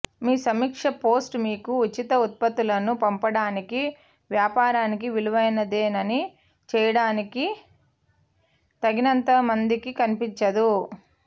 మీ సమీక్ష పోస్ట్ మీకు ఉచిత ఉత్పత్తులను పంపడానికి వ్యాపారానికి విలువైనదేని చేయడానికి తగినంత మందికి కనిపించదు